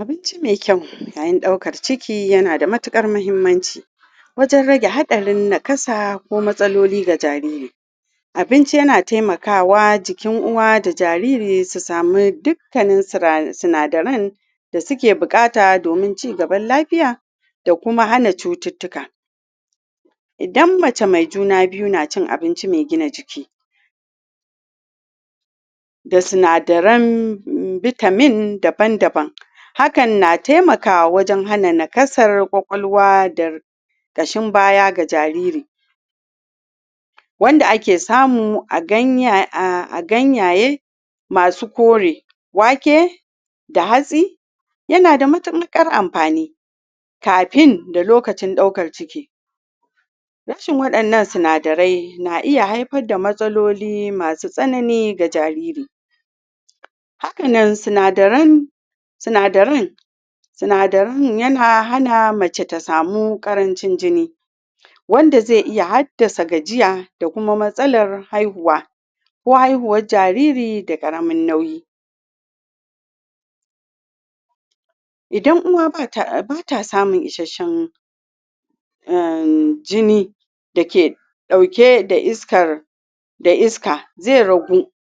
abincimai kayu yayin daukar ciki yana da matukar muhimmanci wajen rage hadarin nakasa ko matsaloli ga jariri abinci yana taimakawa jikin uwa da jariri su samu dukkanin sinadirai da suke bukata domin cin gaban lafiya da kuma hana cututuka idan mace mai juna biyu na cin abinci mai gina jiki da sinadirain vitamin daban daban hakan na taimakawa wajen hana nakasar kwakwaluwa da kashin baya ga jariri wanda ake samu a ganyaye masu ƙore, wake da hatsi yana da matukar amfani kafn da lokacin daukar ciki rashin wadannan sinadirai na iya haifa da matsaloli masu tsananiga jariri hakan nan sinadirai sinadaran sinadiran yana hana mace ta samu karancin jini wanda zai iya haddasa gajiya da kuma matsalar haihuwa ko haihuwan jariri da karamin nauyi idan uwa ba ta samun isashen umjini dake dauke da iskar da iska zai ragu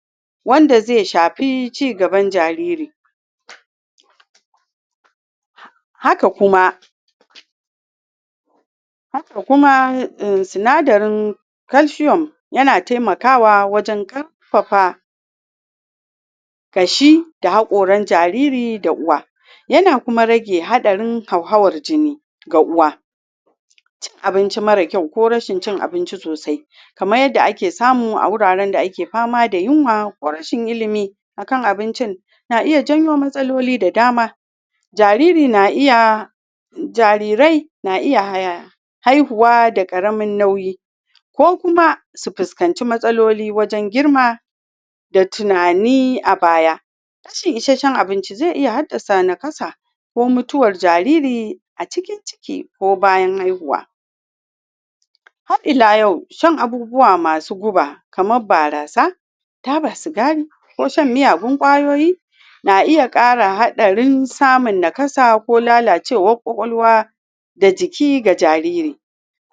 wanda zai shafi cin gaban jariri haka kuma haka kuma sinadirin calcium ya na taimakawa wajen karfafa kashi da hakoran jariri da uwa ya na kuma rage hadarin hauhawan jini ga uwa cin abincin mara kyau ko rashin cin abinci sosai kamar yadda ake samu a wuraren daake fama da yunwa ko rashin ilimi akan abincin na iya janyo matsaloli da dama, jariri na iya jarirai na iya haihuwa da karamin nauyi ko kuma su fuskanci matsaloli wajen girma da tunani a baya rashin isashen abinci zai iya haddasa nakasa ko mutuwan jariri a cikin ciki ko bayan haihuwa har ila yau shan abubuwa masu guba kamar barasa taba sigari ko shan? abin kwayoyi na iya kara hadarin samun nakasa ko lalacewan kwakwaluwa dajiki ga jariri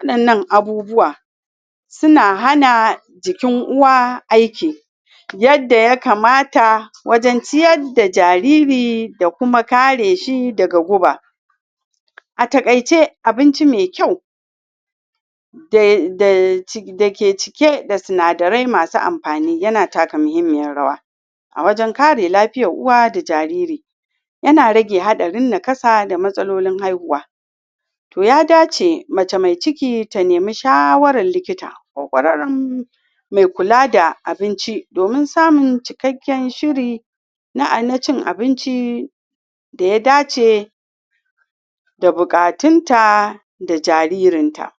wadannan abubuwa suna hana jikin uwa aiki yanda ya kamata wajen ciyar da jariri da kuma kare shi daga guba a takaice abinci mai kyau da ke cike da sinadirai masu amfani ya na taka muhimmiyar rawa a wajen kare lafiyan uwa da jariri yana rage hadarin nakasa da matsalolin haihuwa toh ya dace mace mai cikit a ne nemi shawarar likita mai kula da abinci domin samun cikaken shiri na cin abinci da ya dace da bukatun ta da jaririn ta